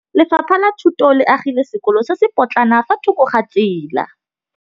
Lefapha la Thuto le agile sekôlô se se pôtlana fa thoko ga tsela.